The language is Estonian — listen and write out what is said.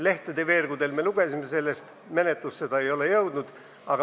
Lehtede veergudelt me lugesime sellest, menetlusse ei ole see jõudnud.